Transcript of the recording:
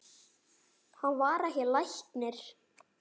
Hann var ekki læknir.